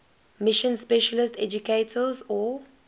mission specialist educators or